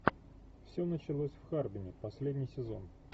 все началось в харбине последний сезон